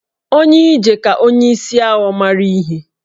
Onye ije ka onye isi awọ mara ihe